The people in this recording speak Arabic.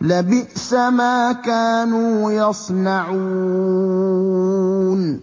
لَبِئْسَ مَا كَانُوا يَصْنَعُونَ